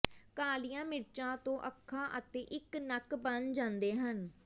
ਕਾਲੀਆਂ ਮਿਰਚਾਂ ਤੋਂ ਅੱਖਾਂ ਅਤੇ ਇਕ ਨੱਕ ਬਣ ਜਾਂਦੇ ਹਨ